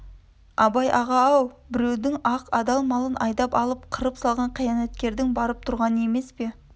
абай аға-ау біреудің ақ адал малын айдап алып қырып салған қиянаткердің барып тұрғаны емес пе